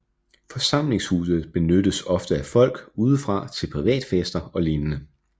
Forsamlingshuset benyttes ofte af folk udefra til privatfester og lignende